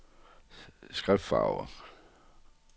skriftfarve